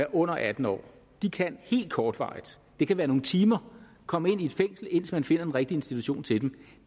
er under atten år kan helt kortvarigt det kan være nogle timer komme ind i et fængsel indtil man finder den rigtige institution til dem